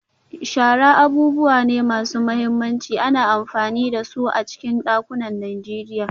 Shara abubuwa ne masu mahimmanci, ana amfani da su a cikin dakunan Najeriya.